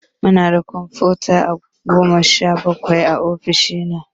Munda kumfuta Goma sha bakwai a ofishin nan